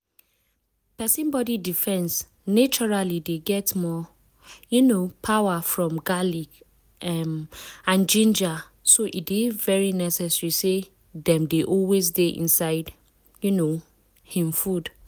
persin body defense naturally dey get more um power from garlic um and ginger so e e dey very necessary say dem dey always dey inside um him food.